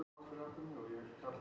Ráðhúsinu